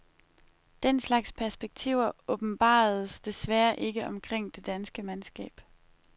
Den slags perspektiver åbenbaredes desværre ikke omkring det danske mandskab.